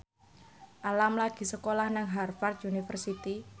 Alam lagi sekolah nang Harvard university